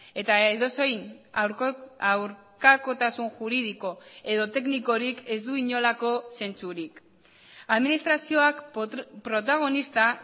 eta edozein aurkakotasun juridiko edo teknikorik ez du inolako zentzurik administrazioak protagonista